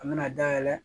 An mɛna dayɛlɛ